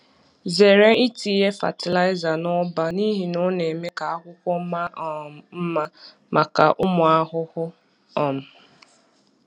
Zere itinye fatịlaịza n’ụba n’ihi na ọ na-eme ka akwụkwọ maa um mma maka ụmụ ahụhụ. um